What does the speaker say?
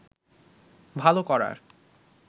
ভালো করার